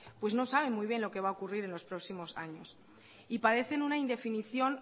no saben muy bien lo que va a ocurrir en los próximos años y padecen una indefinición